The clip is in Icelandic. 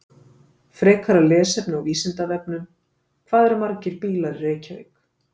Frekara lesefni á Vísindavefnum: Hvað eru margir bílar í Reykjavík?